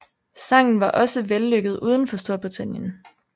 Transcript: Sangen var også vellykket uden for Storbritannien